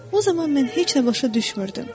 O zaman mən heç nə başa düşmürdüm.